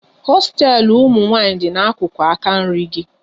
Hosteelu ụmụnwanyị dị n'akụkụ aka nri gị